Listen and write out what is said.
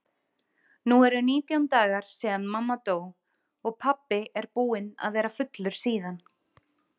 Nú eru nítján dagar síðan mamma dó og pabbi er búinn að vera fullur síðan.